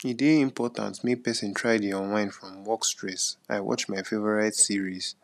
e dey important make person try dey unwind from work stress i watch my favorite series